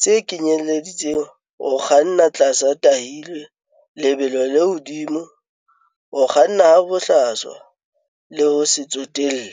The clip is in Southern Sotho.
tse kenyeletsang ho kganna tlasa ba tahilwe, lebelo le hodimo, ho kganna ha bohlaswa le ho se tsotelle.